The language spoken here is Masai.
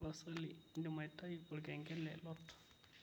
tapasali indimaitayu olengele lot